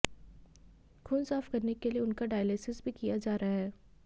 खून साफ करने के लिए उनका डायलिसिस भी किया जा रहा है